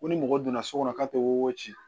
Ko ni mɔgɔ donna so kɔnɔ k'a tɛ wo ci